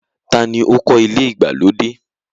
Taa ni ó kọ́ ilé ìgbàlódé?